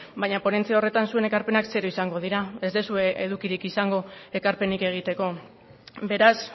baina ponentzia horretan zuen ekarpenak zero izango dira ez duzue edukirik izango ekarpenik egiteko beraz